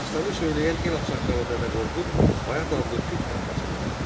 Dastanı söyləyən el aşıqqalı Dədə Qorqud Bayat adlı türk tayfasından idi.